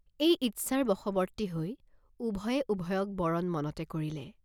এই ইচ্ছাৰ বশৱৰ্তী হৈ উভয়ে উভয়ক বৰণ মনতে কৰিলে।